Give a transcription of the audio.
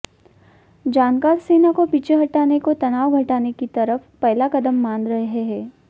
जानकार सेना को पीछे हटाने को तनाव घटाने की तरफ पहला कदम मान रहे हैं